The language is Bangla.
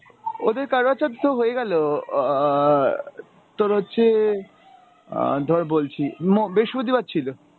ওদের কারবা চৌত তো হয়ে গেলো অ্যাঁ তোর হচ্ছে আহ ধর বলছি ম~ বৃহস্পতিবার ছিল।